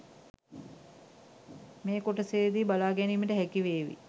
මේ කොටසේදී බලා ගැනීමට හැකිවේවී.